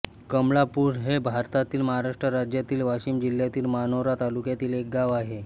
कमळापुर हे भारतातील महाराष्ट्र राज्यातील वाशिम जिल्ह्यातील मानोरा तालुक्यातील एक गाव आहे